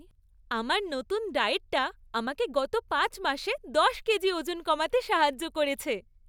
আমার নতুন ডায়েটটা আমাকে গত পাঁচ মাসে দশ কেজি ওজন কমাতে সাহায্য করেছে।